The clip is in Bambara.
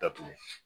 Datugu